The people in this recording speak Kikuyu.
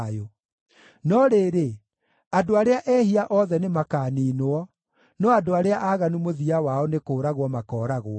No rĩrĩ, andũ arĩa ehia othe nĩmakaniinwo; no andũ arĩa aaganu mũthia wao nĩ kũũragwo makooragwo.